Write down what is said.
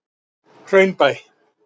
Hraunbæ